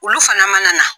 Olu fana mana na